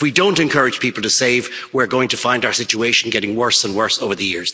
If we don't encourage people to save we're going to find our situation getting worse and worse over the